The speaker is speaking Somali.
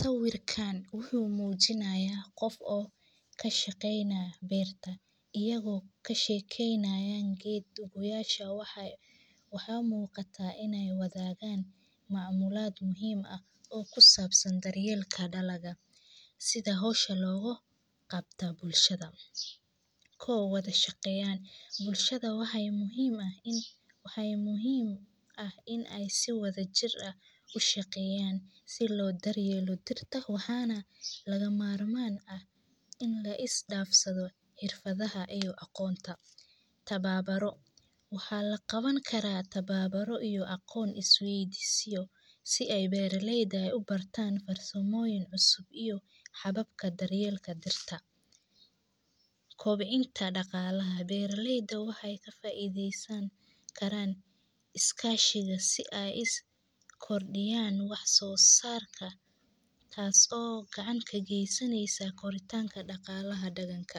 Sawirkaan wuxu muujinayaa qof oo ka shaqeynaa beerta. Iyagoo ka shaqeynaayay geed goyaasha waxaa, waxaa muuqataa inay wadaagaan maamulaad muhiima ah oo ku saabsan daryeelka dhaliga sida hawsha loogo qabta bulshada. kow wada shaqeeyaan. Bulshada waxaa muhiim ah in, waxaa muhiim ah in ay si wada jir ah u shaqeeyaan. Si loo daryeelo dirta, woxana laga maarmaan ah in la is dhaafsado irfadaha iyo aqoonta. Tababaro. Waxaa la qaban karaa tababaro iyo aqoon isweydiiyay si ay beeralayda ah u bartaan farsamooyin cusub iyo xababka daryeelka dirka. Koobcinta dhaqaalaha. Beeralayda waxay ka faaiideysan karaan iskaashiga si ay is kordhiyaan wax soo saarka taas oo gacanka geysanaysa koriitaanka dhaqaalaha deganka.